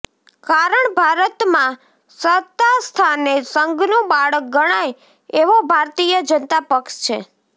કારણ ભારતમાં સત્તાસ્થાને સંઘનું બાળક ગણાય એવો ભારતીય જનતા પક્ષ છે